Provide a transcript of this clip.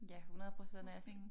Ja 100% og